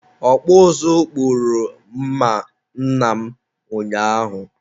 ọkpụ ụzụ kpụrụ mma nna m ụnyaahụ.